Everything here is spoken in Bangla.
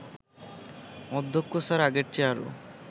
অধ্যক্ষ স্যার আগের চেয়ে আরও